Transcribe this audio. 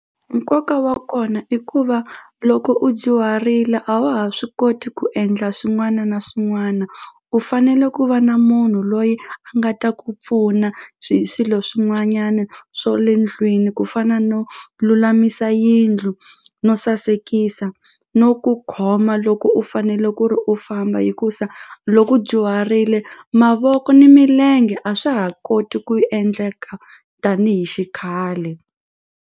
Nkoka wa kona i ku va loko u dyuharile a wa ha swi koti ku endla swin'wana na swin'wana u fanele ku va na munhu loyi a nga ta ku pfuna swi swilo swin'wanyana swo le ndlwini ku fana no lulamisa yindlu no sasekisa no ku khoma loko u fanele ku ri u famba hikusa loko u dyuharile mavoko ni milenge a swa ha koti ku endleka tanihi xikhale.